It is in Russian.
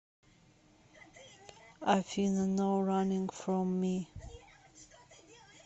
афина ноу раннинг фром ми